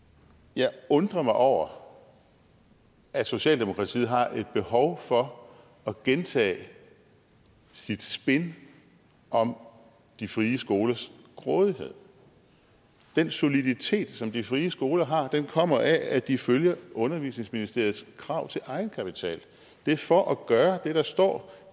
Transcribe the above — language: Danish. jeg undrer mig over at socialdemokratiet har et behov for at gentage sit spin om de frie skolers grådighed den soliditet som de frie skoler har kommer af at de følger undervisningsministeriets krav til egenkapital det er for at gøre det der står